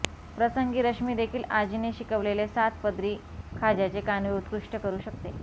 प्रसंगी रश्मीदेखील आजीने शिकवलेले सात पदरी खाज्याचे कानवे उत्कृष्ट करू शकते